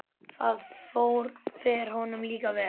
Það fer honum líka vel.